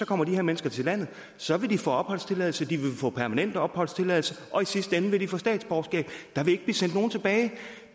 kommer de her mennesker til landet og så vil de få opholdstilladelse de vil få permanent opholdstilladelse og i sidste ende vil de få statsborgerskab der vil ikke blive sendt nogen tilbage